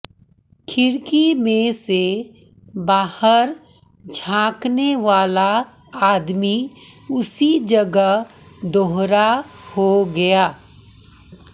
खिड़की में से बाहर झाँकनेवाला आदमी उसी जगह दोहरा हो गया